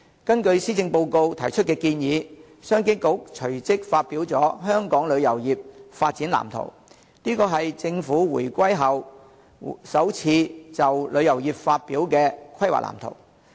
根據施政報告提出的建議，商務及經濟發展局隨即發表了"香港旅遊業發展藍圖"，這是政府回歸後首次就旅遊業發表的規劃藍圖。